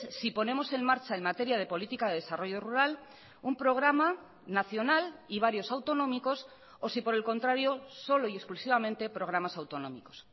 si ponemos en marcha en materia de política de desarrollo rural un programa nacional y varios autonómicos o si por el contrario solo y exclusivamente programas autonómicos